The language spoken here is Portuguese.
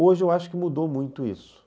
Hoje eu acho que mudou muito isso.